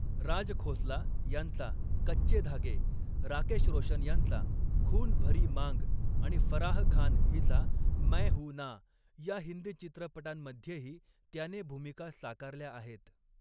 राज खोसला यांचा 'कच्चे धागे', राकेश रोशन यांचा 'खून भरी मांग' आणि फराह खान हिचा 'मैं हूं ना' या हिंदी चित्रपटांमध्येही त्याने भूमिका साकारल्या आहेत.